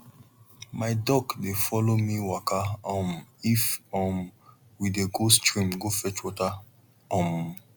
my duck dey follow me waka um if um we dey go stream go fetch water um